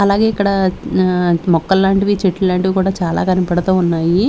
అలాగే ఇక్కడ ఆ మొక్కల్ లాంటివి చెట్లు లాంటివి కూడా చాలా కనపడుతూ ఉన్నాయి.